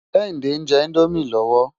Kehinde njè Indómi lòwó